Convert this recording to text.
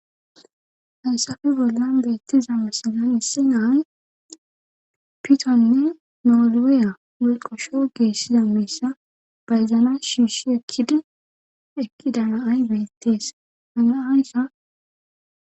Hasafe bollan beettiza masanan issi naay pitonne nooliwiya mulqosho geessiza miissa bayzana shiishi ekkidi ekkidanaay beettees hanaaysa.